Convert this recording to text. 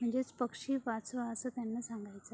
म्हणजेच पक्षी वाचवा असे त्याना सागांयच अय.